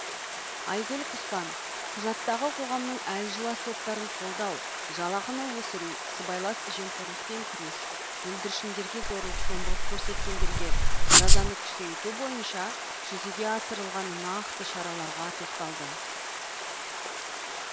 айгүл құспан құжаттағы қоғамның әлуаз топтарын қолдау жалақыны өсіру сыбайлас жемқорлықпен күрес бүлдіршіндерге зорлық зомбылық көрсеткендерге жазаны күшейту бойынша жүзеге асырылған нақты шараларға тоқталды